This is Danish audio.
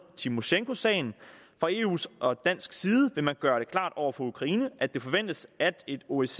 timoshenko sagen fra eus og dansk side vil man gøre det klart over for ukraine at det forventes at et osce